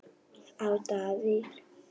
á Dalvík.